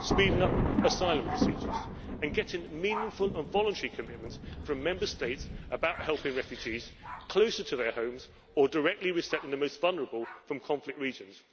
speeding up asylum procedures and getting meaningful and voluntary commitment from Member States about helping refugees closer to their homes, or directly resettling the most vulnerable from conflict regions.